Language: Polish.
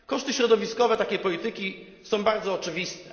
Koszty środowiskowe takiej polityki są bardzo oczywiste.